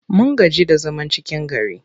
Mun gaji da zaman cikin gari.